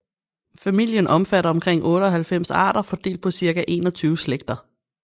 Familien omfatter omkring 98 arter fordelt på cirka 21 slægter